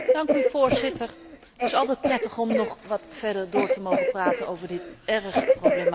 Het is altijd prettig om nog wat verder door te mogen praten over dit erg problematische geval.